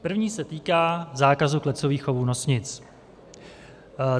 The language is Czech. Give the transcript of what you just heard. První se týká zákazu klecových chovů nosnic.